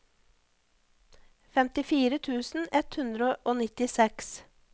femtifire tusen ett hundre og nittiseks